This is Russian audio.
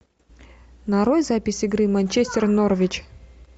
нарой запись игры манчестер норвич